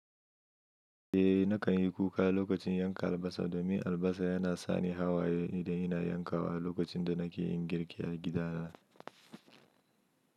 Eh nakan yi kuka lokacin yanka albasa domin albasa yana sani hawaye idan ina yanka wa lokacin da nake yin girki a gida na.